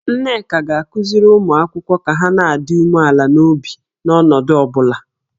Nneka ga-akụziri ụmụ akwụkwọ ka ha na-adị umeala n'obi n'ọnọdụ ọ bụla